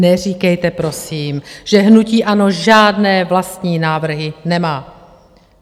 Neříkejte prosím, že hnutí ANO žádné vlastní návrhy nemá.